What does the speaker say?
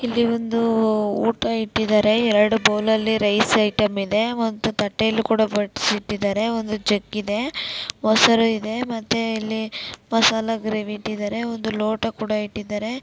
ಅಲ್ಲಿ ಒಂದು ಊಟ ಇಟ್ಟಿದಾರೆ ಎರಡು ಬೌಲ್ ಅಲ್ಲಿ ರೈಸ್ ಐಟೆಮ್ ಇದೆ ಒಂದು ತಟ್ಟೆಯಲ್ಲಿ ಕೂಡಾ ಬಡಸಿಟ್ಟಿದರೆ ಒಂದು ಜಗ್ ಇದೆ ಮೊಸರು ಇದೆ ಮತ್ತೆ ಇಲ್ಲಿ ಮಸಾಲಾ ಗ್ರೇವೀ ಇಟ್ಟಿದರೆ ಒಂದು ಲೋಟ ಕೂಡಾ ಇಟ್ಟಿದರೆ .